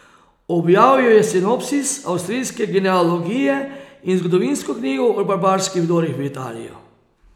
Objavil je Sinopsis avstrijske genealogije in zgodovinsko knjigo o barbarskih vdorih v Italijo.